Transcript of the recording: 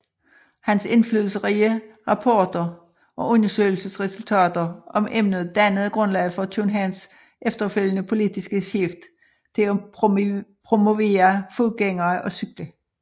Hans indflydelsesrige rapporter og undersøgelsesresultater om emnet dannede grundlaget for Københavns efterfølgende politiske skift til at promovere fodgængere og cykler